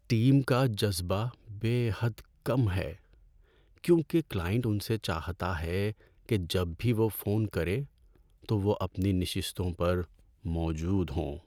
Team کا جذبہ بے حد کم ہے کیونکہ کلائنٹ ان سے چاہتا ہے کہ جب بھی وہ فون کرے تو وہ اپنی نشستوں پر موجود ہوں۔